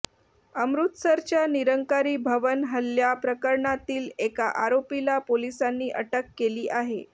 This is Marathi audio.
अमृतसरच्या निरंकारी भवन हल्ल्या प्रकरणातील एका आरोपीला पोलिसांनी अटक केली आहे